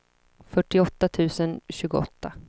fyrtioåtta tusen tjugoåtta